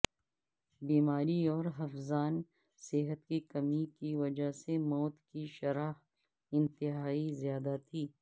بیماری اور حفظان صحت کی کمی کی وجہ سے موت کی شرح انتہائی زیادہ تھی